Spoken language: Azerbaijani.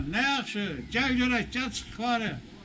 Nə yaxşı, gəl görək, gəl çıx yuxarı.